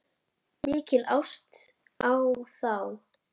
Mikil ást á þá.